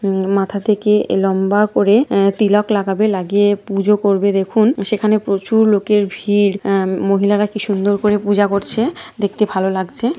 ওম মাথা থেকে লম্বা করে অ তিলক লাগাবে লাগিয়ে পুজো করবে দেখুন সেখানে প্রচুর লোকের ভিড় অ-ম মহিলারা কি সুন্দর করে পূজা করছে দেখতে ভালো লাগছে।